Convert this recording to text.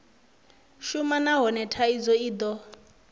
shuma nahone thaidzo i do